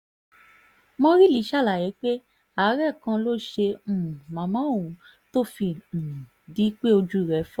mọ́rílì ṣàlàyé pé àárẹ̀ kan ló ṣe um màmá òun tó fi um di pé ojú rẹ̀ fọ́